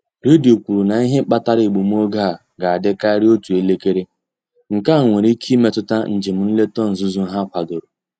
Redio kwuru na ihe kpatara egbumoge a ga-adị karịa otú elekere: nkea nwere ike imetụta njem nleta nzuzo ha kwadoro.